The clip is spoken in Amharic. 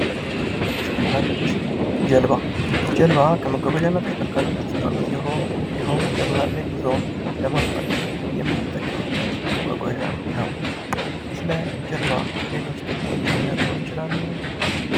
መጓጓዣና ተሽከርካሪዎች ጀልባ:- ጀልባ ከመጓጓዣና ተሽከርካሪዎች ዉስጥ አንዱ ሲሆን ይኸዉም የባህር ላይ ጉዞዎች ለማፋጠን የምንጠቀምበት መጓጓዣ ነዉ። ስለ ጀልባ ሌሎች ጥቅሞች ሊነግሩን ይችላሉ?